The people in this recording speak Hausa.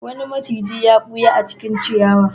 Wani maciji ya ɓuya a cikin ciyawa.